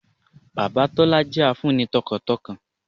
Bàbá Tólá jẹ́ a fun ni tọkàntọkàn